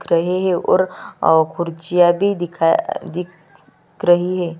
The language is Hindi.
दिख रहै है और अ खूर्चीयाँ भी अ दिख रही हैं।